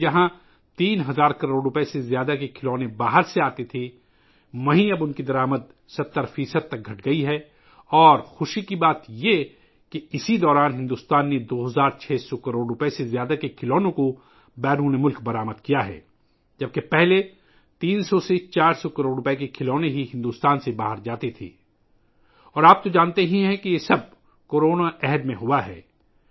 پہلے جہاں 3 ہزار کروڑ روپئے سے زیادہ کے کھلونے باہر سے آتے تھے، اب ان کی درآمد میں 70 فی صد کمی آئی ہے اور یہ خوشی کی بات ہے کہ اس عرصے کے دوران بھارت نے 2 ہزار 600 کروڑ روپئے سے زیادہ کے کھلونے بیرونی ملکوں میں برآمد کئے ہیں ، جب کہ پہلے بھارت سے باہر صرف 300400 کروڑ روپئے کے کھلونے جاتے تھے اور آپ جانتے ہیں کہ یہ سب کچھ کورونا کے دور میں ہوا تھا